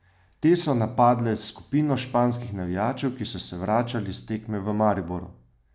Te so napadle skupino španskih navijačev, ki so se vračali s tekme v Mariboru.